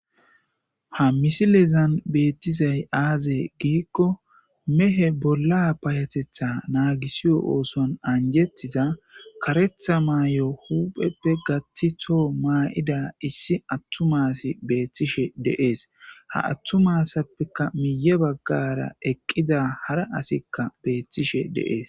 Ha misilezan betizay aze gikon mehe bolla payatetha nagisiyo oosuwan anjetiza karetha mayo hupheppe gath to mayida issi atuma assiy betishe de'es, ha atuma asappeka miye bagara eqida hara asiyka betishe de'es.